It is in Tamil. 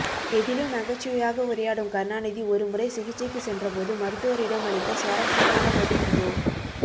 எதிலும் நகைச்சுவையாக உரையாடும் கருணாநிதி ஒருமுறை சிகிச்சைக்கு சென்றபோது மருத்துவரிடம் அளித்த சுவாரசியமான பதில் இதோ